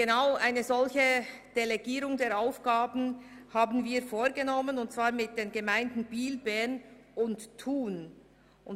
Eine solche Aufgabendelegierung haben wir mit den Gemeinden Biel, Bern und Thun vereinbart.